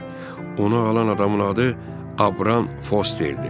Ona alan adamın adı Abrran Fosterdir.